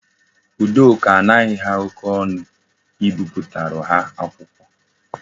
Udoka anaghi ha oke onu ibipụtara ha akwụkwọ